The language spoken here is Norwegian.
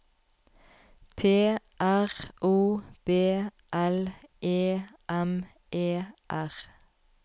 P R O B L E M E R